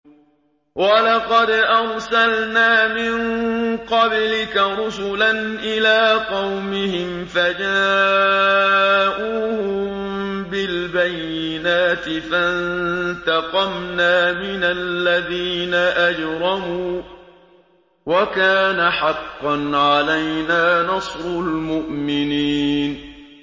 وَلَقَدْ أَرْسَلْنَا مِن قَبْلِكَ رُسُلًا إِلَىٰ قَوْمِهِمْ فَجَاءُوهُم بِالْبَيِّنَاتِ فَانتَقَمْنَا مِنَ الَّذِينَ أَجْرَمُوا ۖ وَكَانَ حَقًّا عَلَيْنَا نَصْرُ الْمُؤْمِنِينَ